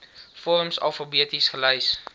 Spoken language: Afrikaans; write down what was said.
vorms alfabeties gelys